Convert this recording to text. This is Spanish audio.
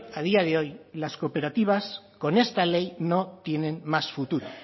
a día de hoy las cooperativas con esta ley no tienen más futuro